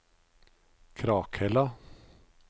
Krakhella